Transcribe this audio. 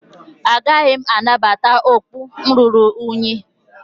Agaghị m anabata okpu ruru unyi